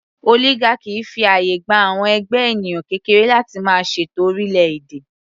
Oligarchy fi àyè gba àwọn ẹgbẹ́ ènìyàn kékeré láti máa ṣètò orílẹ̀ - èdè.